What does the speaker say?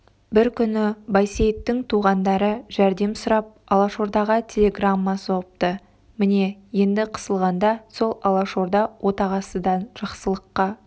бір күні байсейіттің туғандары жәрдем сұрап алашордаға телеграмма соғыпты міне енді қысылғанда сол алашорда отағасыдан жақсылыққа